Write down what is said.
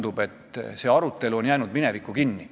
Kas tõesti probleemiga mittetegelemine muudab probleemi olematuks?